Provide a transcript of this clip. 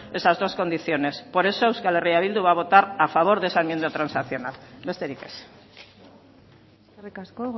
esas dos condiciones por eso euskal herria bildu va a votar a favor de esa enmienda transaccional besterik ez eskerrik asko